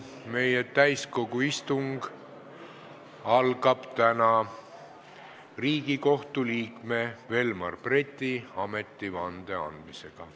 Meie täiskogu istung algab täna Riigikohtu liikme Velmar Breti ametivande andmisega.